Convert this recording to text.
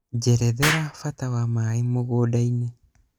njerethera mbata wa maaĩ mũgũnda-inĩ